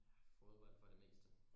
Fodbold for det meste